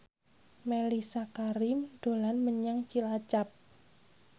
Mellisa Karim dolan menyang Cilacap